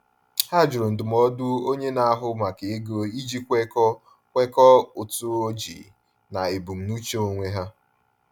Ha jụrụ ndụmọdụ onye na-ahụ maka ego iji kwekọọ kwekọọ ụtụ ojii na ebumnuche onwe ha.